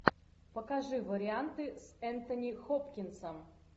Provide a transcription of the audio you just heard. покажи варианты с энтони хопкинсом